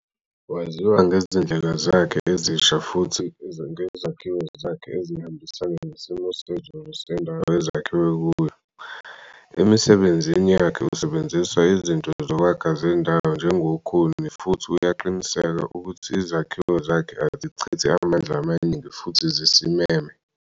Waziwa ngezindlela zakhe ezisha futhi ngezakhiwo zakhe ezihambisana nesimo sezulu sendawo ezakhiwe kuyo. Emisebenzini yakhe usebenzisa izinto zokwakha zendawo njengokhuni futhi uyaqinisekisa ukuthi izakhiwo zakhe azichithi amandla amaningi futhi zisimeme.